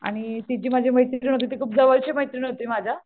आणि ती जी माझी मैत्रीण होती ती खूप जवळची मैत्रीण होती माझ्या.